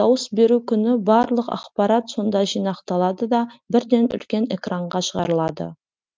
дауыс беру күні барлық ақпарат сонда жинақталады да бірден үлкен экранға шығарылады